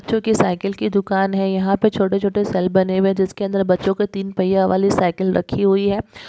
जो की साइकिल की दुकान है यहाँ पे छोटे छोटे सेल बने हुए है जिसके अंदर बच्चों के तीन पहिया वाली साइकिल रखी हुई है।